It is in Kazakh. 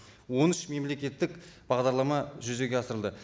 он үш мемлекеттік бағдарлама жүзеге асырылды